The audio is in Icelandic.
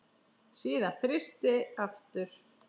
Síðan frysti aftur.